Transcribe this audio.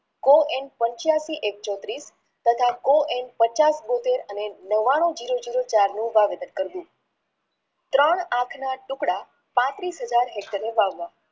કો એમ પંચ્યાશી એક ચોત્રીશ તથા કો એમ પચાસ નવાણું જીરો જીરો ચારનું વાવેતર કર્યું ત્રણ આંખના ટુકડા પાંત્રીશ હાજર એકરે વાવ્યા